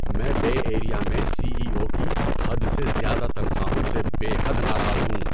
میں Bay Area میں C E O کی حد سے زیادہ تنخواہوں سے بے حد ناراض ہوں۔